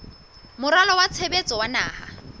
moralo wa tshebetso wa naha